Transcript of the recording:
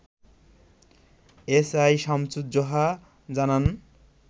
SI Samsuzzoha জানান